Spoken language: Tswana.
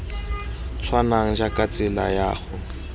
tshwanang jaaka tsela ya go